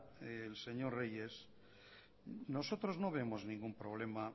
el señor reyes nosotros no vemos ningún problema